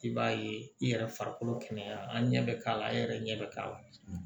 I b'a ye i yɛrɛ farikolo kɛnɛya an ɲɛ bɛ k'a la e yɛrɛ ɲɛ bɛ k'a la